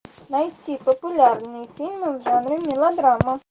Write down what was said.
найти популярные фильмы в жанре мелодрама